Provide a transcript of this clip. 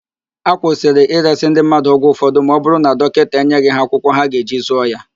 Akwụsịrị ịresị ndị mmadụ ọgwụ ụfọdụ ma ọ bụrụ na dọkịta enyeghị ha akwụkwọ ha ga-eji zụọ ya.